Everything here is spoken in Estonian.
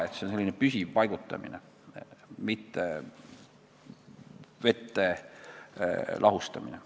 See on selline püsiv paigutamine, mitte vette lahustamine.